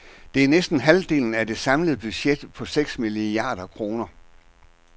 Det er næsten halvdelen af det samlede budget på seks milliarder kroner.